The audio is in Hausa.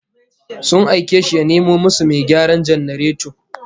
Sun aike shi ya nemo musu mai gyaran janareto